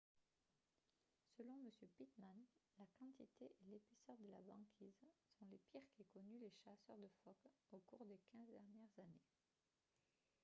selon m pittman la quantité et l'épaisseur de la banquise sont les pires qu'aient connues les chasseurs de phoques au cours des 15 dernières années